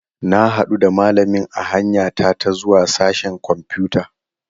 Na hadu da malamin a hanya ta ta zuwa sashen kwamfuta.